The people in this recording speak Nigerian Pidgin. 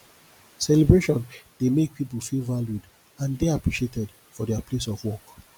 celebration dey make pipo feel valued and dey appreciated for their place of work